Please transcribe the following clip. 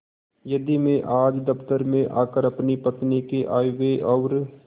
यदि मैं आज दफ्तर में आकर अपनी पत्नी के आयव्यय और